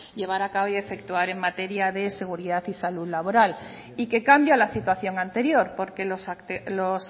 llevar a cabo y efectuar en materia de seguridad y salud laboral y que cambia la situación anterior porque los